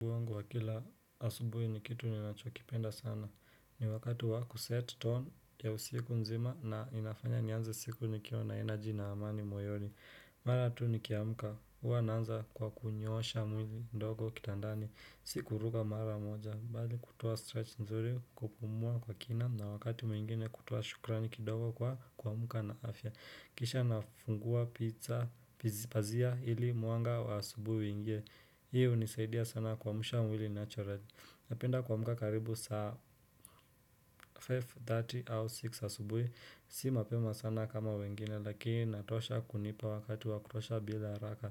Kwa kila asubuhi ni kitu ninachokipenda sana ni wakati wakuset tone ya usiku nzima na inafanya nianze siku nikiwa na energy na amani moyoni. Mara tu nikiamka. Huwa naanza kwa kunyoosha mwili ndogo kitandani. Si kuruka mara moja bali kutoa stretch nzuri, kupumua kwa kina na wakati mwingine kutoa shukrani kidogo kwa kuamka na afya. Kisha nafungua pizza pizi pazia ili mwanga wa asubuhi uingie. Hii hunisaidia sana kuamsha mwili naturally. Napenda kuamka karibu saa 5:30 au 6 asubuhi Si mapema sana kama wengine lakini inatosha kunipa wakati wakutosha bila haraka